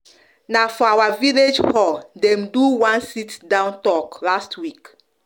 na for our village hall dem do one sit-down talk last week